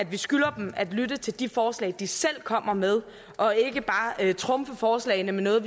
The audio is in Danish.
vi skylder dem at lytte til de forslag de selv kommer med og ikke bare trumfer forslagene med noget